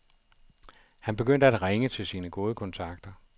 Han begyndte at ringe til sine gode kontakter.